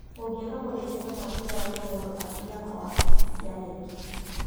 ũngĩaga maumĩrĩra ma kĩgeranio mũndũ athiaga wabici cia KNEC